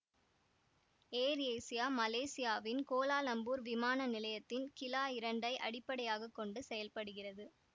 ஏர் Asia மலேசியாவின் Kuala Lumpur விமான நிலையத்தின் கிலா இரண்டை அடிப்படையாக கொண்டு செயல்படுகிறது